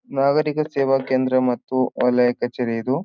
ನಾಗರೀಕ ಸೇವಾ ಕೇಂದ್ರ ಮತ್ತು ಹಳೆಯ ಕಚೇರಿ ಇದು.